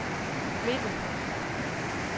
midte